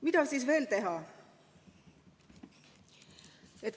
Mida siis veel teha?